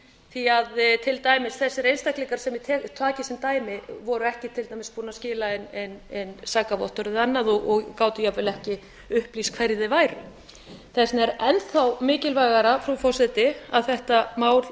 því til dæmis þessir einstaklingar svo ég taki sem dæmi voru ekki til dæmis búnir að skila inn sakavottorði og anna og gátu jafnvel ekki upplýst hverjir þeir væru þess vegna er enn þá mikilvægara frú forseti að þetta mál